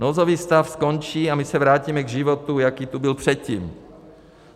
Nouzový stav skončí a my se vrátíme k životu, jaký tady byl předtím.